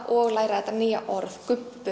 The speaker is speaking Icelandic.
og læra þetta nýja orð